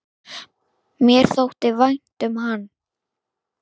Mér þótti vænt um hann.